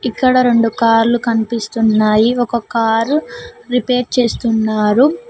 ఇక్కడ రెండు కాళ్లు కనిపిస్తున్నాయి ఒక కారు రిపేర్ చేస్తున్నారు.